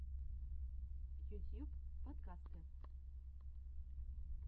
ютьюб подкасты